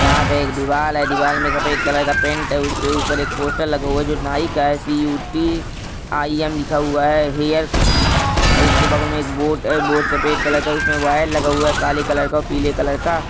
यहां पर दीवार है दीवार पर सफेद कलर का पेंट है किया हुआ है उसके ऊपर पोस्टर लगा है जो कि नाइ का है सी_यू_टी आई_एम् लिखा हुआ है हेयर उसके बगल में बोट-बेट-बूट सफेद कलर का उसमें यावर लगा हुआ है काले कलर का प्ले कलर का